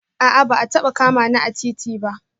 A'a ba a taba kama ni a titi ba